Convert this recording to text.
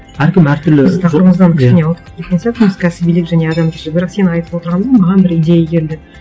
әркім әртүрлі тақырыбымыздан кішкене ауытқып кеткен сияқтымыз кәсібилік және адамгершілік бірақ сен айтып отырғаныңнан маған бір идея келді